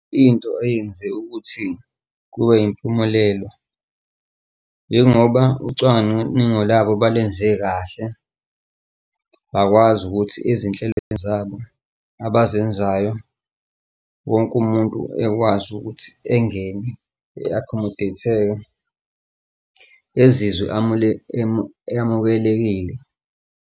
Into eyenza ukuthi kube yimpumelelo njengoba ucwaningo labo balwenze kahle, bakwazi ukuthi ezinhlelweni zabo abazenzayo wonke umuntu ekwazi ukuthi engene e-akhomodeyitheke ezizwe amukelekile.